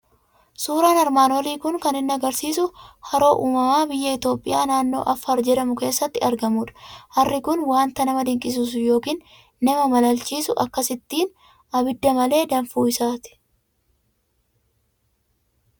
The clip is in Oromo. Suuraan armaan olii kun kan inni argisiisu Haroo uumamaa biyya Itoophiyaa, naannoo Affaar jedhamu keessatti argamudha. Harri kun waanta nama dinqisiisu yookiin nama malaalchisu, akkasittiin abidda malee danfuu isaa ti.